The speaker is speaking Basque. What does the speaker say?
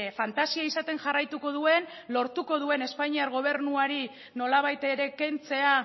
fantasia izaten jarraituko duen lortuko duen espainiar gobernuari nolabait ere kentzea